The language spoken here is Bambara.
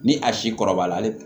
Ni a si kɔrɔbala